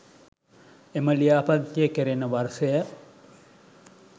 එම ලියාපදිංචිය කෙරෙන වර්ෂය